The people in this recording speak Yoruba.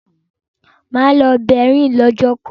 Mà á lọ Berlin lọ́jọ́ kan.